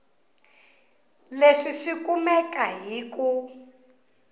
leswi swi kumeka hi ku